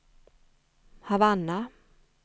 Havanna